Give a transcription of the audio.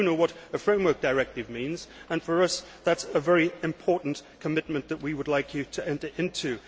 We do know what a framework directive means and for us that is a very important commitment that we would like you to enter into.